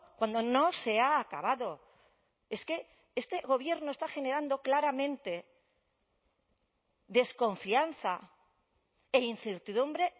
cuando no se ha acabado es que este gobierno está generando claramente desconfianza e incertidumbre